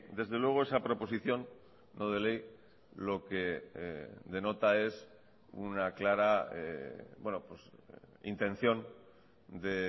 desde luego esa proposición no de ley lo que denota es una clara intención de